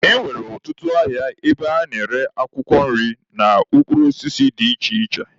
E nwere ọtụtụ ahịa ebe a na-ere akwụkwọ nri na mkpụrụ osisi dị iche iche.